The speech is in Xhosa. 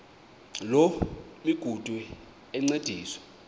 loo migudu encediswa